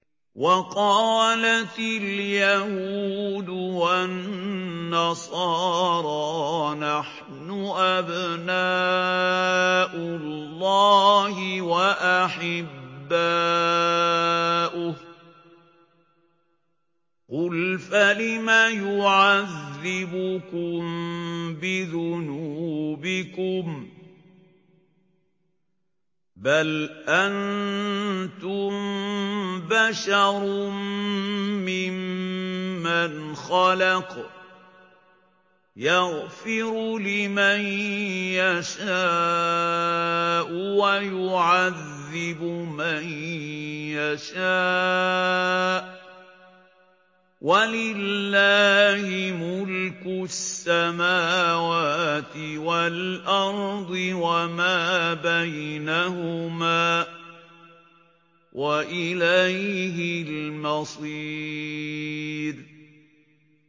وَقَالَتِ الْيَهُودُ وَالنَّصَارَىٰ نَحْنُ أَبْنَاءُ اللَّهِ وَأَحِبَّاؤُهُ ۚ قُلْ فَلِمَ يُعَذِّبُكُم بِذُنُوبِكُم ۖ بَلْ أَنتُم بَشَرٌ مِّمَّنْ خَلَقَ ۚ يَغْفِرُ لِمَن يَشَاءُ وَيُعَذِّبُ مَن يَشَاءُ ۚ وَلِلَّهِ مُلْكُ السَّمَاوَاتِ وَالْأَرْضِ وَمَا بَيْنَهُمَا ۖ وَإِلَيْهِ الْمَصِيرُ